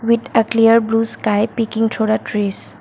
it a clear blue sky picking to the trees.